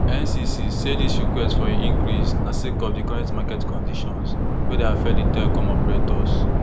ncc say dis request for increase na sake of di current market conditions wey dey affect di telcom operators